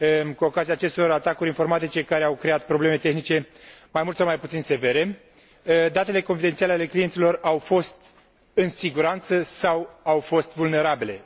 Cu ocazia acestor atacuri informatice care au creat probleme tehnice mai mult sau mai puțin severe, datele confidențiale ale clienților au fost în siguranță sau au fost vulnerabile?